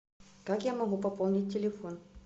как я могу пополнить телефон